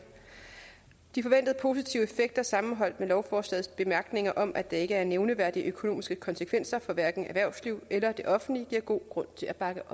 de forventede positive effekter sammenholdt med lovforslagets bemærkninger om at der ikke er nævneværdige økonomiske konsekvenser for hverken erhvervsliv eller det offentlige giver god grund til at bakke